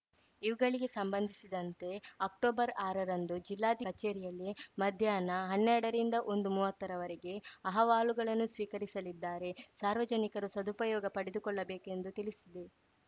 ಇವುಗಳಿಗೆ ಸಂಬಂಧಿಸಿದಂತೆ ಅಕ್ಟೊಬರ್ಆರರಂದು ಜಿಲ್ಲಾಧಿಕಾರಿ ಕಚೇರಿಯಲ್ಲಿ ಮಧ್ಯಾಹ್ನ ಹನ್ನೆರಡರಿಂದ ಒಂದುಮುವತ್ತರವರೆಗೆ ಅಹವಾಲುಗಳನ್ನು ಸ್ವೀಕರಿಸಲಿದ್ದಾರೆ ಸಾರ್ವಜನಿಕರು ಸದುಪಯೋಗ ಪಡೆದುಕೊಳ್ಳಬೇಕೆಂದು ತಿಳಿಸಿದೆ